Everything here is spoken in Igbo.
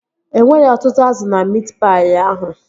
E nweghị ọtụtụ azụ na miit paị ahụ